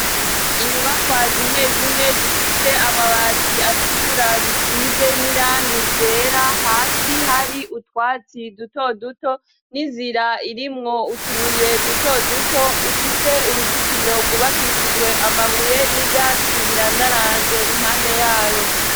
Inyubakwa zimwe zimwe zifite amabati atukura zisize n'irang ryera hasi hari utwatsi duto duto n'inzira irimwo utubuye duto duto ifite uruzitiro rwubakishijwe amabuye n'ivyatsi birandaranze impande yayo.